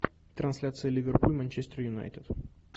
трансляция ливерпуль манчестер юнайтед